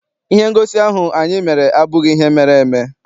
Ihe ngosi ahụ anyị mere abụghị ihe mere eme.